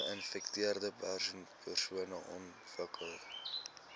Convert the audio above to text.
geinfekteerde persone ontwikkel